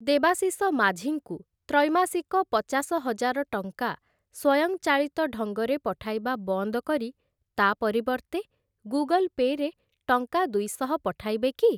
ଦେବାଶିଷ ମାଝୀଙ୍କୁ ତ୍ରୈମାସିକ ପଚାଶ ହଜାର ଟଙ୍କା ସ୍ୱୟଂ ଚାଳିତ ଢଙ୍ଗରେ ପଠାଇବା ବନ୍ଦ କରି, ତା' ପରିବର୍ତ୍ତେ ଗୁଗଲ୍ ପେ' ରେ ଟଙ୍କା ଦୁଇଶହ ପଠାଇବେ କି?